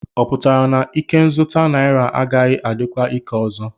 Ọ pụtara na ikenzụta naira agaghị adịkwa ike ọzọ?